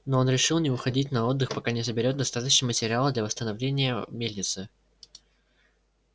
но он решил не уходить на отдых пока не соберёт достаточно материала для восстановления мельницы